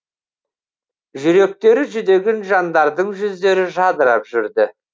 жүректері жүдеген жандардың жүздері жадырап жүрді